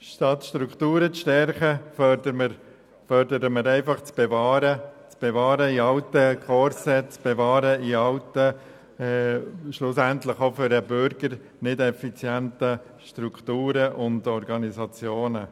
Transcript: Statt Strukturen zu stärken, fördern wir das Bewahren in alten Korsetts und schlussendlich auch für den Bürger das Bewahren nicht effizienter Strukturen und Organisationen.